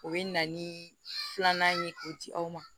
O bɛ na ni filanan ye k'o di aw ma